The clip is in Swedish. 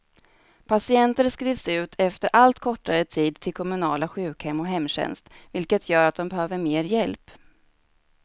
Patienter skrivs ut efter allt kortare tid till kommunala sjukhem och hemtjänst, vilket gör att de behöver mer hjälp.